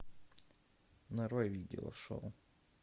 нарой видео шоу